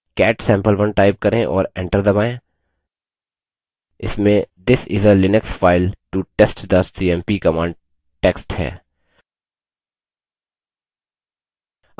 cat sampe1 type करें और enter दबायें इसमें this is a linux file to test the cmp command text है